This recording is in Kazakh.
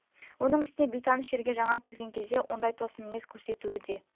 оның үстіне бейтаныс жерге жаңа келген кезде ондай тосын мінез көрсетуі де